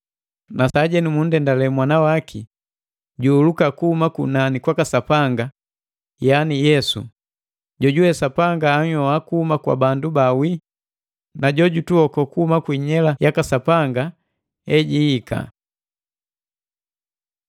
na sajenu mundendale Mwana waki juhuluka kuhuma kunani kwaka Sapanga, yaani Yesu, jojuwe Sapanga anhyoha kuhuma kwa bandu baawii na jojutuoko kuhuma ku inyela yaka Sapanga ejihika.